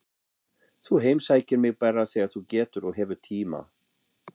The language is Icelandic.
Þú heimsækir mig bara þegar þú getur og hefur tíma.